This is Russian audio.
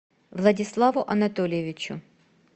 владиславу анатольевичу